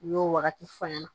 U y'o wagati fɔ n ɲɛna